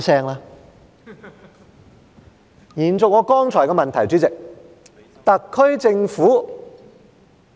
主席，延續我剛才提出的問題，特區政府......